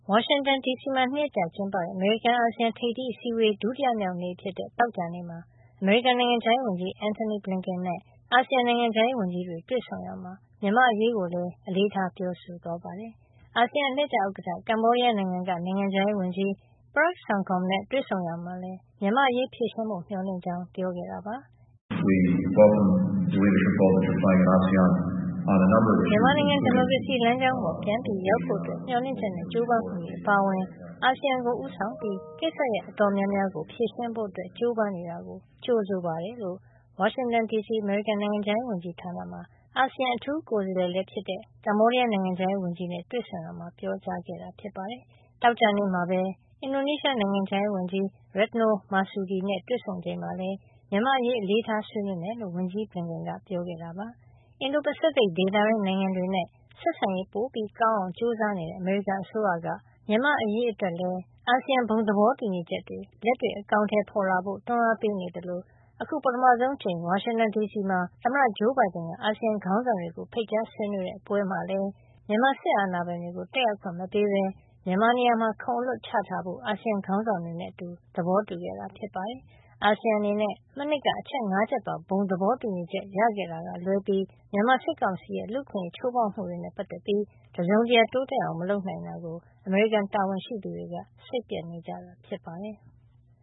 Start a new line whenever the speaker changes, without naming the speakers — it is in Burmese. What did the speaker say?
ဝါရှင်တန်ဒီစီမှာ ၂ ရက်ကြာကျင်းပတဲ့ အမေရိကန်- အာဆီယံ ထိပ်သီးအစည်းဝေး ဒုတိယနေ့ဖြစ်တဲ့ သောကြာနေ့မှာ အမေရိကန်နိုင်ငံခြားရေးဝန်ကြီး Anthony Blinken နဲ့ အာဆီယံ နိုင်ငံခြားရေး ဝန်ကြီးတွေ တွေ့ဆုံရာမှာ မြန်မာ့အရေးကိုလည်း အလေးထား ပြောဆိုသွားပါတယ်။ အာဆီယံ အလှည့်ကျဥက္ကဋ္ဌ ကမ္ဘောဒီးယားနိုင်ငံက နိုင်ငံခြားရေးဝန်ကြီး Prak Sokhonn နဲ့ တွေ့ဆုံရာမှာလည်း မြန်မာ့အရေး ဖြေရှင်းဖို့ မျှော်လင့်ကြောင်း ပြောခဲ့တာပါ
။ “မြန်မာနိုင်ငံ ဒီမို
ကရေစီလမ်းကြောင်းပေါ် ပြန်ရောက်ဖို့ မျှော်လင့်ချက်နဲ့ ကြိုးပမ်းမှုတွေ အပါအဝင် အာဆီယံကို ဦးဆောင်ပြီး ကိစ္စရပ်တော်တော်များများကို ဖြေရှင်းဖို့ ကြိုးပမ်းနေတာကို ကြိုဆိုပါတယ်" လို့ ဝါရှင်တန်ဒီစီ အမေရိကန်နိုင်ငံခြားရေး ဝန်ကြီးဌာနမှာ အာဆီယံအထူးကိုယ်စားလှယ်လည်းဖြစ်တဲ့ ကမ္ဘောဒီးယား နိုင်ငံခြားရေး ဝန်ကြီးနဲ့ တွေ့ဆုံရာမှာ ပြောဆိုလိုက်တာပါ။သောကြာနေ့မှာပဲ အင်ဒိုနီးရှားနိုင်ငံခြားရေးဝန်ကြီး Retno Marsudi တို့ တွေ့ဆုံချိန်မှာလည်း မြန်မာ့အရေး အလေးထား ဆွေးနွေးမယ့်အကြောင်း ဝန်ကြီး Blinken က ပြောခဲ့ပါတယ်" အင်ဒို-ပစိဖိတ်ဒေသတွင်း နိုင်ငံတွေနဲ့ ဆက်ဆံရေး ပိုကောင်းအောင်ကြိုးစားနေတဲ့ အမေရိကန်အစိုးရက မြန်မာ့အရေးအတွက်လည်း အာဆီယံ ဘုံသဘောတူညီချက်တွေ လက်တွေ့ အကောင်အထည် ဖေါ်လာစေဖို့ တွန်းအားပေးနေသလို အခု ပထမဆုံးအကြိမ် ဝါရှင်တန်ဒီစီမှာ သမ္မတဂျိုးဘိုင်ဒန်က အာဆီယံခေါင်းဆောင်တွေကို ဖိတ်ကြားဆွေးနွေးတဲ့ပွဲမှာလည်း မြန်မာစစ်အာဏာပိုင်တွေကို တက်ရောက်ခွင့် မပေးဘဲ၊ မြန်မာနေရာမှာ ခုံအလွတ်ချထားဖို့ အာဆီယံခေါင်းဆောင်တွေနဲ့ အတူ သဘောတူခဲ့တာ ဖြစ်ပါတယ်။ အာဆီယံအနေနဲ့ မနှစ်က အချက် ၅ ချက်ပါဘုံသဘောတူညီချက် ရခဲ့တာက လွဲပြီး မြန်မာစစ်ကောင်စီရဲ့ လူ့အခွင့်ရေး ချိုးဖေါက်နေမှုတွေနဲ့ ပတ်သက်ပြီး တစုံတရာတိုးတက်အောင် မလုပ်နိုင်တာကိုအမေရိကန်တာဝန်ရှိသူတွေက စိတ်ပျက်နေကြတာ ဖြစ်ပါတယ်။